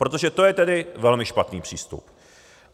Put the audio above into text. Protože to je tedy velmi špatný přístup.